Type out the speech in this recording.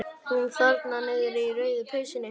Hún þarna niðri í rauðu peysunni.